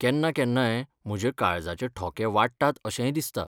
कन्नाकेन्नाय, म्हज्या काळजाचे ठोके वाडटात अशेंय दिसता.